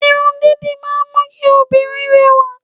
Irun dídì máa ń mú kí òbìnrin rẹ̀wà